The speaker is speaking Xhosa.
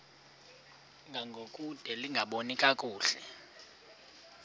ngangokude lingaboni kakuhle